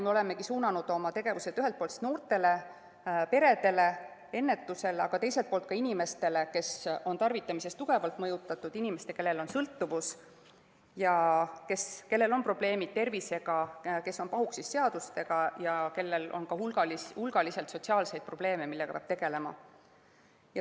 Me olemegi suunanud oma tegevused ühelt poolt noortele, peredele, ennetusele, aga teiselt poolt ka inimestele, kes on tarvitamisest tugevalt mõjutatud, ja inimestele, kellel on sõltuvus ja kellel on probleemid tervisega, kes on pahuksis seadustega ja kellel on hulgaliselt sotsiaalseid probleeme, millega peab tegelema.